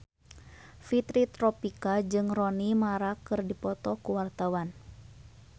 Fitri Tropika jeung Rooney Mara keur dipoto ku wartawan